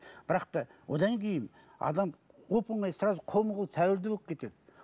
бірақ та одан кейін адам оп оңай сразу қолма қол тәуелді болып кетеді